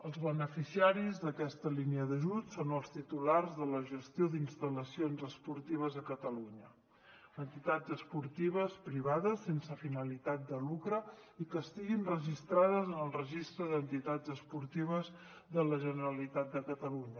els beneficiaris d’aquesta línia d’ajuts són els titulars de la gestió d’instal·lacions esportives a catalunya entitats esportives privades sense finalitat de lucre i que estiguin registrades en el registre d’entitats esportives de la generalitat de catalunya